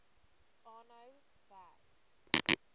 aanhou werk